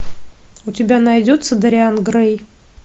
у тебя найдется дориан грей